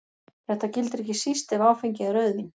Þetta gildir ekki síst ef áfengið er rauðvín.